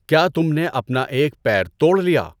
کیا تم نے اپنا ایک پیر توڑ لیا؟